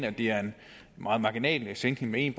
at det er en meget marginal sænkning med en